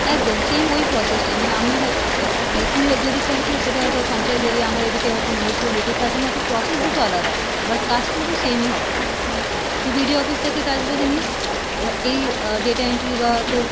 একদম same ওই process টাই মানে আমি হয় আহ মানে তুই ও যে দিকটা হচ্ছিস সেটা হয়তো পঞ্চায়েত area আমার এদিকে হয়তো municipality তার জন্য হয়তো process দুটো আলাদা but কাজ কিন্তু same ই হবে, তুই BDO office থেকে কাজ যদি নিস আহ এই আহ data entry বা তোর,